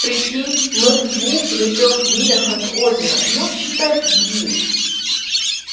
прикинь мы в двух или трёх милях от озера ну считай в двух